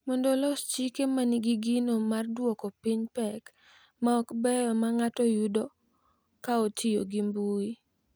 Mondo olos chike ma nigi gino mar dwoko piny pek ma ok beyo ma ng’ato yudo ka otiyo gi mbui.